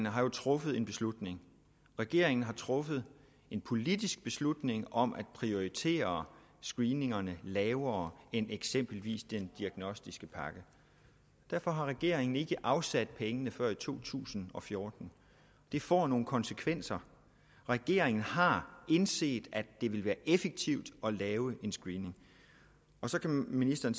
har truffet en beslutning regeringen har truffet en politisk beslutning om at prioritere screeningerne lavere end eksempelvis den diagnostiske pakke derfor har regeringen ikke afsat pengene før i to tusind og fjorten det får nogle konsekvenser regeringen har indset at det vil være effektivt at lave en screening så kan ministeren